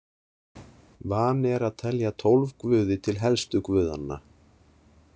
Vani er að telja tólf guði til helstu guðanna.